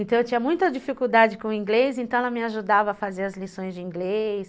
Então eu tinha muita dificuldade com o inglês, então ela me ajudava a fazer as lições de inglês.